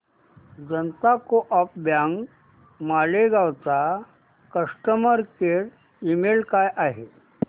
जनता co-op bank Malegaon चा customer care email काय आहे